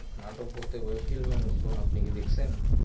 নাটক বলতে web series এর মতো আপনি কি দেখসেন?